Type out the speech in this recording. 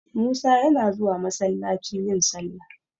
Musa yana zuwa masallaci yin sallah.